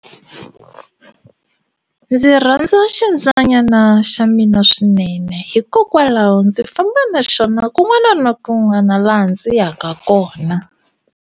Ndzi rhandza ximbyanyana xa mina swinene hikokwalaho ndzi famba na xona kun'wana na kun'wana laha ndzi yaka kona.